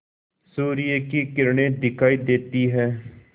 सूर्य की किरणें दिखाई देती हैं